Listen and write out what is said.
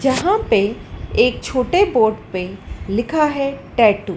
यहाँ पे एक छोटे बोर्ड पे लिखा है टैटू ।